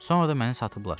Sonra da məni satıblar.